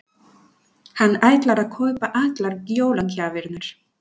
Hann ætlar að kaupa allar jólagjafirnar.